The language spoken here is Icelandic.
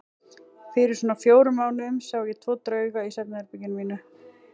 Fyrir svona fjórum mánuðum sá ég tvo drauga í svefnherberginu mínu.